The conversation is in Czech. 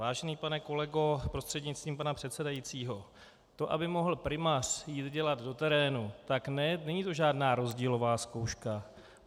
Vážený pane kolego prostřednictvím pana předsedajícího, to, aby mohl primář jít dělat do terénu, tak to není žádná rozdílová zkouška.